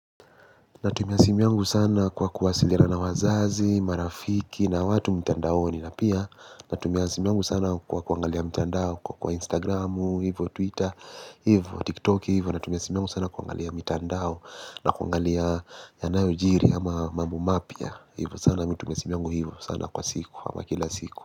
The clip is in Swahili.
Natumia simu yungu sana kwa kuwasiliana na wazazi, marafiki na watu mtandaoni na pia. Natumia simu yungu sana kwa kuangalia mtandao kwa instagramu, hivo twitter, hivo tiktok hivo. Natumiasimu yangu sana kuangalia mitandao na kuangalia yanayo jiri ama mambu mapia. Hivo sana mitumiasimi yungu hivo sana kwa siku ama kila siku.